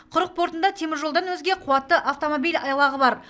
құрық портында теміржолдан өзге қуатты автомобиль айлағы бар